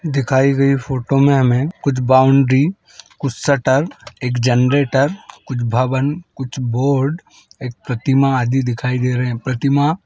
दिखाई गई फोटो में हमे कुछ बाउंड्री कुछ शटर एक जनरेटर कुछ भवन कुछ बोर्ड एक प्रतिमा आदि दिखाई दे रहे है प्रतिमा--